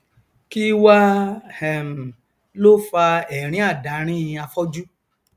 kí wá um ló fa ẹrínàdárín afọjú